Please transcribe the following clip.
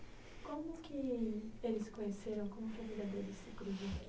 Como que eles se conheceram? Como que a vida deles se cruzou